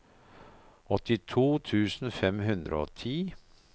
åttito tusen fem hundre og ti